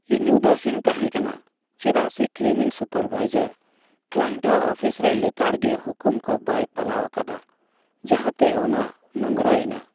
ᱤᱧ ᱩᱫᱟᱹᱥᱤᱧ ᱛᱟᱦᱮᱸ ᱠᱟᱱᱟ ᱪᱮᱫᱟᱜ ᱥᱮ ᱠᱞᱤᱱᱤᱝ ᱥᱩᱯᱟᱨᱵᱷᱟᱭᱡᱟᱨ ᱠᱞᱟᱭᱮᱱᱴ ᱟᱜ ᱚᱯᱷᱤᱥ ᱨᱮ ᱞᱮᱛᱟᱲ ᱜᱮ ᱦᱩᱠᱩᱢ ᱠᱚ ᱵᱟᱭ ᱯᱟᱞᱟᱣ ᱟᱠᱟᱫᱟ ᱡᱟᱦᱟᱛᱮ ᱚᱱᱟ ᱱᱳᱝᱨᱟ ᱮᱱᱟ ᱾